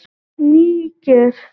Níger